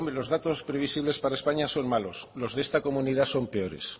los datos previsibles para españa son malos los de esta comunidad son peores